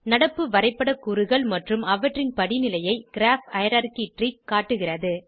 நடப்பு வரைப்பட கூறுகள் மற்றும் அவற்றின் படிநிலையை கிராப் ஹைரார்ச்சி ட்ரீ காட்டுகிறது